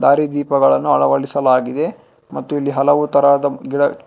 ದಾರಿ ದೀಪಗಳನು ಅಳವಡಿಸಲಾಗಿದೆ ಮತ್ತು ಇಲ್ಲಿ ಹಲವು ತರಹದ ಗಿಡ--